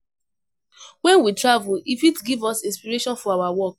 When we travel, e fit give us inspiration for our work